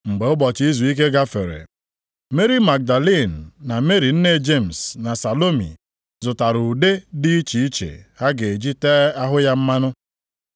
Mgbe ụbọchị izuike gafere, Meri Magdalin na Meri nne Jemis na Salomi zụtara ụda dị iche iche ha ga-eji tee ahụ ya mmanụ.